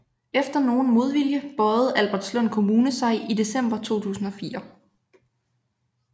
Efter nogen modvilje bøjede Albertslund Kommune sig i december 2004